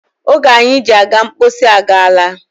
Oge anyị ji aga mposi agaala.